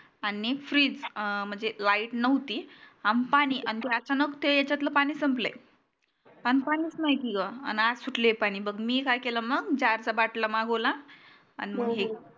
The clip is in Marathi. आणि freeze म्हणजे lite नव्हती आणि पानी ते अचानक यचातळ पानी संपल अन पाणीच नाही की ग अन आज सुटले पानी की बघ मी काय केल मग जार चा बाटला मागतला अन मग हे